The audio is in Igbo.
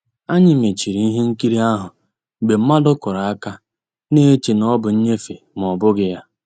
Ànyị́ mèchìrì ihe nkírí ahụ́ mgbe mmadụ́ kùrù àka, na-èchè na ọ́ bụ́ nnìnyéfè mà ọ́ bụ́ghi ya.